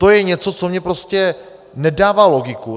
To je něco, co mně prostě nedává logiku.